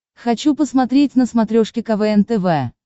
хочу посмотреть на смотрешке квн тв